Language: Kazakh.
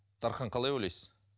дархан қалай ойлайсыз